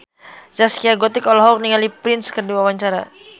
Zaskia Gotik olohok ningali Prince keur diwawancara